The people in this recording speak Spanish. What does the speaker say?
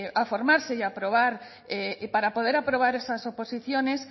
a formarse y para poder aprobar esas oposiciones